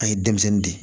An ye denmisɛnnin de